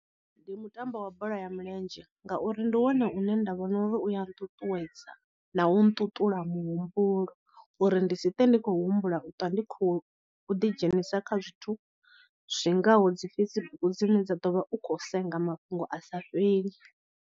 Ndi mutambo wa bola ya milenzhe ngauri ndi wone une nda vhona uri u a nṱuṱuwedza na u nṱuṱula muhumbulo, uri ndi si ṱwe ndi khou humbula u ṱwa ndi khou ḓidzhenisa kha zwithu zwingaho dzi Facebook dzine wa ḓo vha u khou senga mafhungo a sa fheli.